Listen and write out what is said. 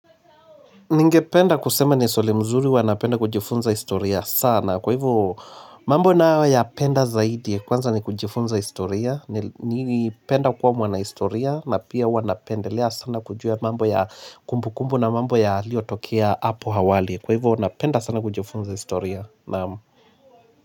Ningependa kusema ni swali mzuri huwa napenda kujifunza historia sana kwa hivyo mambo nayoyapenda zaidi kwanza ni kujifunza historia nili ni penda kuwa mwana historia na pia huwa napendelea sana kujua mambo ya kumbu kumbu na mambo yaliyotokea hapo hawali kwa hivyo napenda sana kujifunza historia naam.